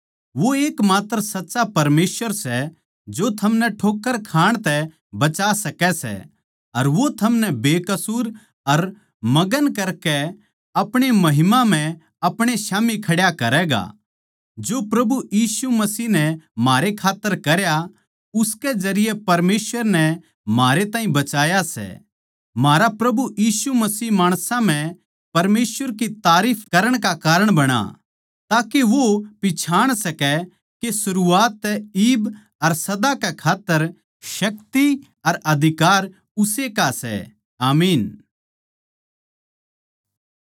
वो एकमात्र सच्चा परमेसवर सै जो थमनै ठोक्कर खाण तै बचा सकै सै अर वो थमनै बेकसूर अर मगन करके अपणे महिमा म्ह अपणे स्याम्ही खड्या करैगा जो प्रभु यीशु मसीह नै म्हारे खात्तर करया उसकै जरिये परमेसवर नै म्हारे ताहीं बचाया सै म्हारा प्रभु यीशु मसीह माणसां म्ह परमेसवर की तारीफ करण का कारण बणा ताके वो पिच्छाण सकै के सरूआत तै इब अर सदा कै खात्तर शक्ति अर अधिकार उस्से का सै आमीन